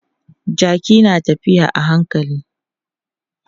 Jaki na tafiya a hankali.